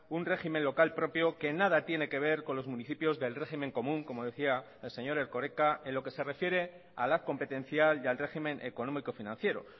un régimen local propio que nada tiene que ver con los municipios del régimen común como decía el señor erkoreka en lo que se refiere a la competencial y al régimen económico financiero